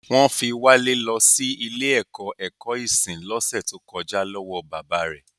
Wọ́n fi Wale lọ sí ilé ẹ̀kọ́ ẹ̀kọ́ ìsìn lọ́sẹ̀ tó kọjá lọ́wọ́ bàbá rẹ̀